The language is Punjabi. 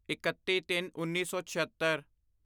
ਇਕੱਤੀਤਿੰਨਉੱਨੀ ਸੌ ਛਿਅੱਤਰ